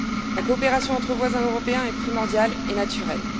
La coopération entre voisins européens est primordiale et naturelle.